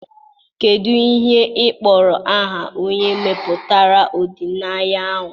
Kedu ihe ị kpọrọ aha onye mepụtara ọdịnaya ahụ?